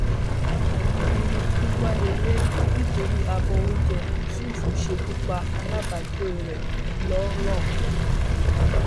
àbí irú kí wàá lélẹyìí nítorí abọ oúnjẹ yusuf ṣekú pa alábàágbé rẹ ńlọrọrìn